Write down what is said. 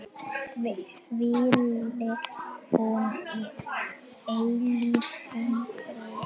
Hvíli hún í eilífum friði.